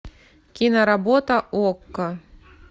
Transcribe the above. киноработа окко